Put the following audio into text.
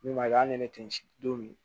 Min ma kɛ hali ni ne tɛ n si don